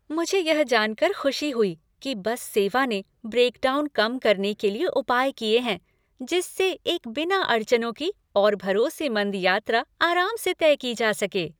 मुझे यह जानकर खुशी हुई कि बस सेवा ने ब्रेकडाउन कम करने के लिए उपाय किए हैं, जिससे एक बिना अड़चनों की और भरोसेमंद यात्रा आराम से तय की जा सके।